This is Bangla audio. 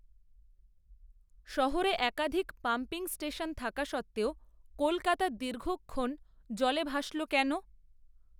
শহরে একাধিক, পাম্পিং স্টেশন থাকা সত্ত্বেও, কলকাতা দীর্ঘক্ষণ, জলে ভাসল কেন